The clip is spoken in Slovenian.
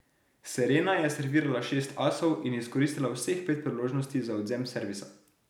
Serena je servirala šest asov in izkoristila vseh pet priložnosti za odvzem servisa.